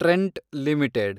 Trent limited